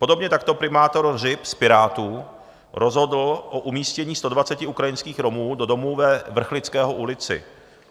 Podobně takto primátor Hřib z Pirátů rozhodl o umístění 120 ukrajinských Romů do domu ve Vrchlického ulici.